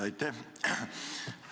Aitäh!